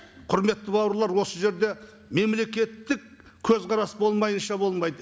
құрметті бауырлар осы жерде мемлекеттік көзқарас болмайынша болмайды